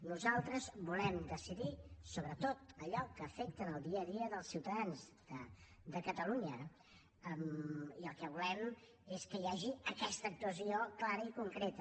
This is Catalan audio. nosaltres volem decidir sobre tot allò que afecta en el dia a dia dels ciutadans de catalunya i el que volem és que hi hagi aquesta actuació clara i concreta